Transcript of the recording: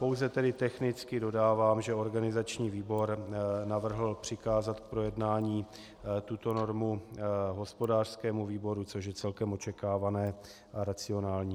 Pouze tedy technicky dodávám, že organizační výbor navrhl přikázat k projednání tuto normu hospodářskému výboru, což je celkem očekávané a racionální.